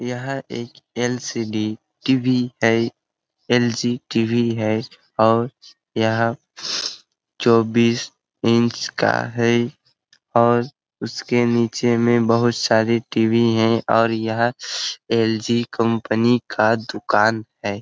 यह एक LCD. TV. है एल.जी. टी.वी. है और यह चोबीस इंच का है और उसके नीचे में बहुत सारे टी.वी. है और यह एल.जी. कम्पनी का दुकान हैं।